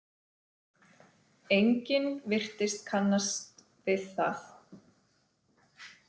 Enginn virtist kannast við það.